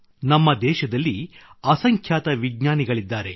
ನಮ್ಮ ದೇಶದಲ್ಲಿ ಅಸಂಖ್ಯಾತ ವಿಜ್ಞಾನಿಗಳಿದ್ದಾರೆ